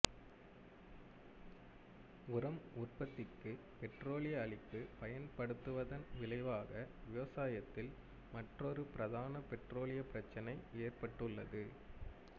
உரம் உற்பத்திக்கு பெட்ரோலிய அளிப்பு பயன்படுத்தப்படுவதன் விளைவாக விவசாயத்தில் மற்றொரு பிரதான பெட்ரோலிய பிரச்சினை ஏற்பட்டுள்ளது